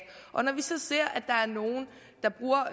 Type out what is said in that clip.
og når vi så ser